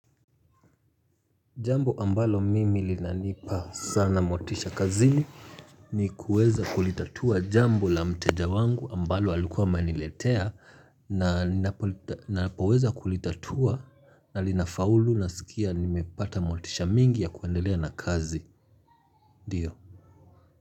Jambo ambalo mimi linanipa sana motisha kazi ni kuweza kulitatua jambo la mteja wangu ambalo alikuwa ameniletea na napoweza kulitatua na linafaulu nasikia nimepata motisha mingi ya kuendelea na kazi, ndiyo.